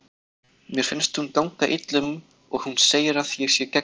Mér finnst hún ganga illa um og hún segir að ég sé geggjuð.